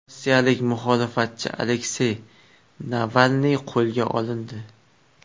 Rossiyalik muxolifatchi Aleksey Navalniy qo‘lga olindi.